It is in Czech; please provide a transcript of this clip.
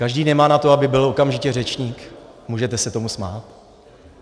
Každý nemá na to, aby byl okamžitě řečník, můžete se tomu smát.